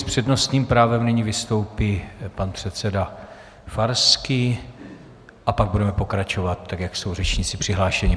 S přednostním právem nyní vystoupí pan předseda Farský a pak budeme pokračovat tak, jak jsou řečníci přihlášeni.